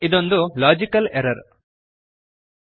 ಇದೊಂದು logical error logical error